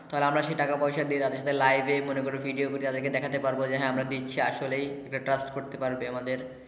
তাহলে আমরা সে টাকা পয়সা দিয়ে live এ ভিডিও করে তাদের কে দেখতে পারবো যে হ্যা আমরা দিচ্ছি যে আসলেই trust করতে পারবে আমাদের।